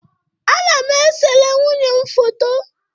Ana m esere nwunye m foto